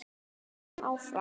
En verður hann áfram?